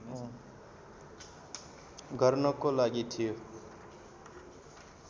गर्नको लागि थियो